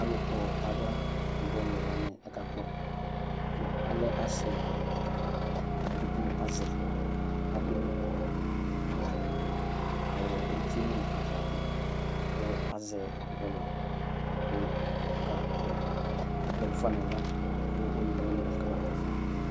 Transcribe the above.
Alʋkpɔ aɣla bɔlʋ wani akakpɔ kʋ alɛ asɩ layɛ kakpɔ edigbo azɛ adʋ awʋ uti nʋ ava alʋ azɛ bɔlɔ yɛ kʋ bɔlɔ yɛ dʋfa nʋ aɣla kʋ one wani afʋ kama tɛɛ fa